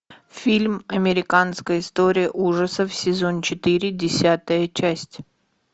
фильм американская история ужасов сезон четыре десятая часть